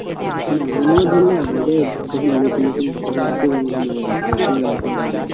মানে আমিও ধরেনে আগে যখন নতুন নতুন তখন খুব আমাকে মজা লাগতো এখন অত আর মজা লাগে না।